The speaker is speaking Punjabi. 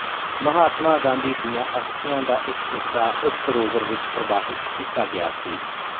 ਮਹਾਤਮਾ ਗਾਂਧੀ ਦੀਆਂ ਅਸਥੀਆਂ ਦਾ ਇੱਕ ਹਿੱਸਾ ਇਸ ਸਰੋਵਰ ਵਿੱਚ ਪ੍ਰਵਾਹਿਤ ਕੀਤਾ ਗਿਆ ਸੀ